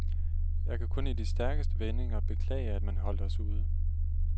Jeg kan kun i de stærkeste vendinger beklage, at man holdt os ude.